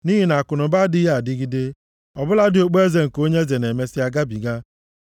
nʼihi na akụnụba adịghị adịgide. Ọ bụladị okpueze nke onye eze na-emesịa gabiga.